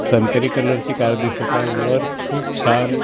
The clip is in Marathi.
संत्री कलर ची कार दिसत आहे वर खूप छान--